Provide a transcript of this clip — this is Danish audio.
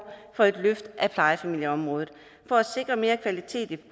for et løft af plejefamilieområdet for at sikre mere kvalitet i